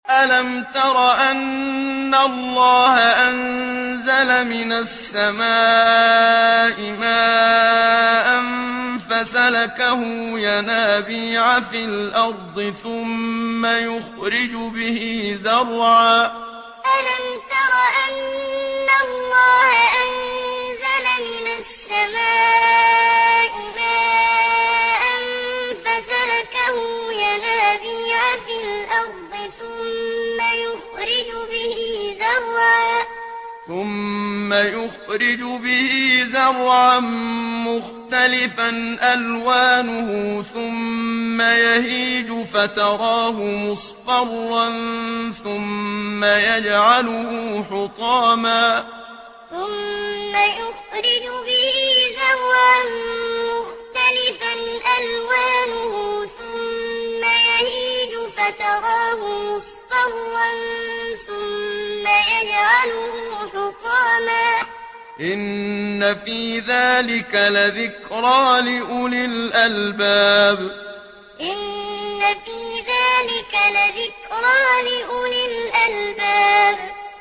أَلَمْ تَرَ أَنَّ اللَّهَ أَنزَلَ مِنَ السَّمَاءِ مَاءً فَسَلَكَهُ يَنَابِيعَ فِي الْأَرْضِ ثُمَّ يُخْرِجُ بِهِ زَرْعًا مُّخْتَلِفًا أَلْوَانُهُ ثُمَّ يَهِيجُ فَتَرَاهُ مُصْفَرًّا ثُمَّ يَجْعَلُهُ حُطَامًا ۚ إِنَّ فِي ذَٰلِكَ لَذِكْرَىٰ لِأُولِي الْأَلْبَابِ أَلَمْ تَرَ أَنَّ اللَّهَ أَنزَلَ مِنَ السَّمَاءِ مَاءً فَسَلَكَهُ يَنَابِيعَ فِي الْأَرْضِ ثُمَّ يُخْرِجُ بِهِ زَرْعًا مُّخْتَلِفًا أَلْوَانُهُ ثُمَّ يَهِيجُ فَتَرَاهُ مُصْفَرًّا ثُمَّ يَجْعَلُهُ حُطَامًا ۚ إِنَّ فِي ذَٰلِكَ لَذِكْرَىٰ لِأُولِي الْأَلْبَابِ